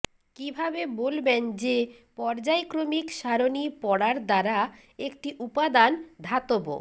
কীভাবে বলবেন যে পর্যায়ক্রমিক সারণি পড়ার দ্বারা একটি উপাদান ধাতব